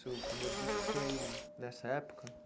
Seu primeiro disco foi nessa época?